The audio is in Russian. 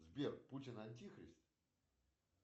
сбер путин антихрист